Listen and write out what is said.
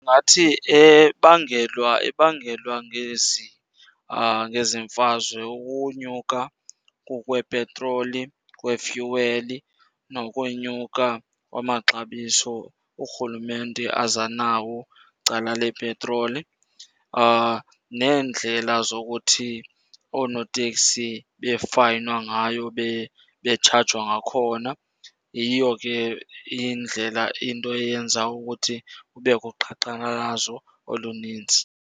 Ndingathi ebangelwa, ebangelwa ngezi, ngezi mfazwe ukunyuka kukwepetroli, kwefyuweli, nokwenyuka kwamaxabiso urhulumente aza nawo cala lepetroli. Neendlela zokuthi oonoteksi befayinwa ngayo, betshajwa ngakhona. Yiyo ke indlela into eyenza ukuthi kubekho uqhankqalalazo olunintsi.